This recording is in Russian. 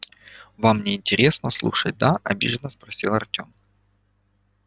вам не интересно слушать да обиженно спросил артём